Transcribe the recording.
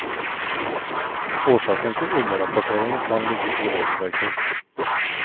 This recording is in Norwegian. Årsaken til underrapporteringen kan ligge i regelverket.